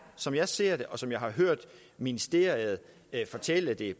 som jeg ser det og som jeg har hørt ministeriet fortælle det